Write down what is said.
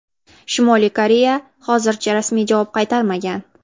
Shimoliy Koreya hozircha rasmiy javob qaytarmagan.